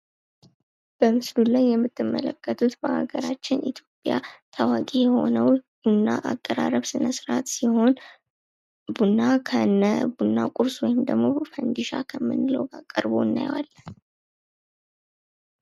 በምስሉ ላይ የምትመለከቱት በሀገራችን በኢትዮጵያ ታዋቂ የሆነው ቡና አቀራረብ ስነስርዓት ሲሆን ቡና ከነ ቡና ቁርሱ ወይም ደግሞ ፈንድሻ ከምንለው ጋር ቀርቦ እናየዋለን።